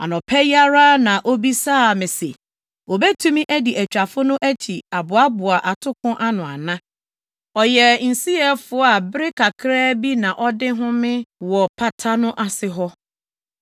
Anɔpa yi ara na obisaa me se, obetumi adi atwafo no akyi aboaboa atoko ano ana? Ɔyɛ nsiyɛfo a bere kakraa bi na ɔde homee wɔ pata no ase hɔ.”